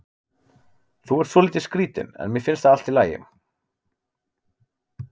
Þú ert svolítið skrítinn en mér finnst það allt í lagi.